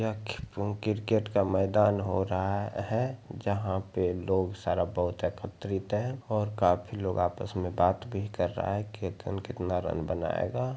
यह ख किरकेट का मैदान हो रहा है जहाँ पे लोग सारा बहोत एकत्रित है और काफी लोग आपस में बात भी कर रहा है केतन कितना रन बनायेगा।